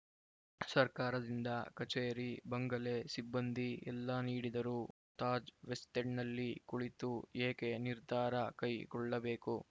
ಸರ್ಕಾರದಿಂದ ಕಚೇರಿ ಬಂಗಲೆ ಸಿಬ್ಬಂದಿ ಎಲ್ಲಾ ನೀಡಿದರೂ ತಾಜ್‌ವೆಸ್ಟ್‌ ಎಂಡ್‌ನಲ್ಲಿ ಕುಳಿತು ಏಕೆ ನಿರ್ಧಾರ ಕೈಗೊಳ್ಳಬೇಕು